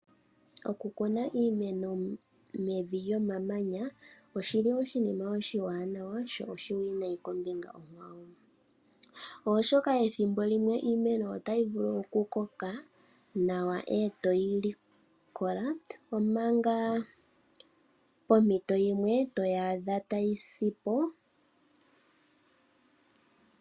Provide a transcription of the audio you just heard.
Okukuna iimeno mevi lyomamanya oshiwanawa sho oshiwinayi kombinga yimwe oshoka ethimbo limwe iimeno otayi vulu iku koka nawa eto yili. Omanga pompito yimwe otayi vulu okusapo.